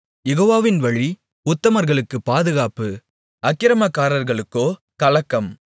யெகோவாவின் வழி உத்தமர்களுக்குப் பாதுகாப்பு அக்கிரமக்காரர்களுக்கோ கலக்கம்